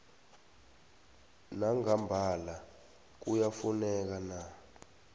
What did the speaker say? nangambala kuyafuneka na